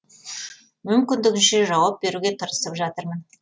мүмкіндігінше жауап беруге тырысып жатырмын